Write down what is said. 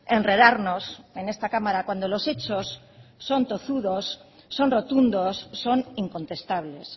enredarnos en esta cámara cuando los hechos son tozudos son rotundos son incontestables